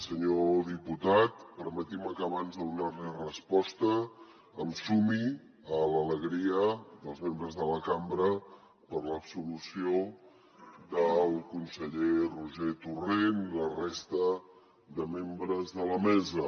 senyor diputat permeti’m que abans de donar li resposta em sumi a l’alegria dels membres de la cambra per l’absolució del conseller roger torrent i la resta de membres de la mesa